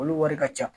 Olu wari ka ca